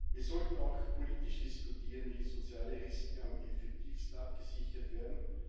Wir sollten auch politisch diskutieren, wie soziale Risiken am effektivsten abgesichert werden.